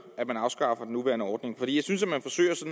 at man afskaffer den nuværende ordning jeg synes man forsøger